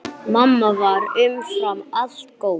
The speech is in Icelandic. Mamma var umfram allt góð.